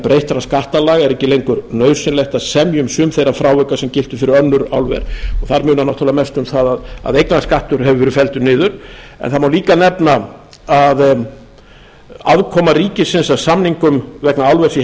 breyttra skattalaga er ekki lengur nauðsynlegt að semja um sum þeirra frávika sem giltu fyrir önnur álver og þar munar mestu um það að eignarskattur hefur verið felldur niður en það má líka nefna að aðkoma ríkisins af samningum vegna álvers í